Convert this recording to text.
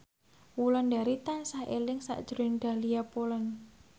Wulandari tansah eling sakjroning Dahlia Poland